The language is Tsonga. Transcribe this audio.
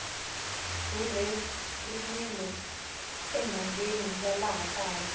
rhurheriwile enhangeni ya laha kaya